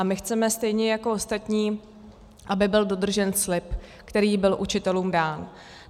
A my chceme stejně jako ostatní, aby byl dodržen slib, který byl učitelům dán.